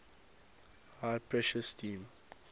high pressure steam